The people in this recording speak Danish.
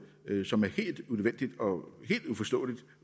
som er helt unødvendig og helt uforståelig